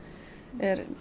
er